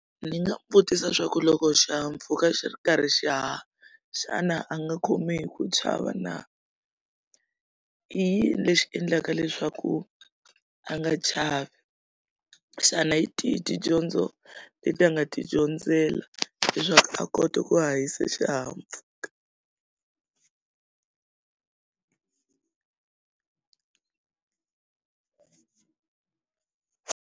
Ni nga vutisa swa ku loko xihahampfhuka xi ri karhi xi haha xana a nga khomi hi ku chava na i yini lexi endlaka leswaku a nga chavi xana hi tihi tidyondzo leti a nga ti dyondzela leswaku a kota ku hahisa xihahampfhuka.